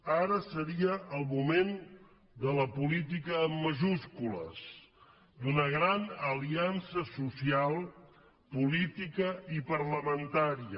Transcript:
ara seria el moment de la política amb majúscules d’una gran aliança social política i parlamentària